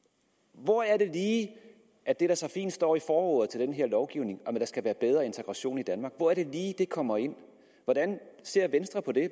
hvor er det lige at det der så fint står i forordet til den her lovgivning om at der skal være bedre integration i danmark kommer ind hvordan ser venstre på det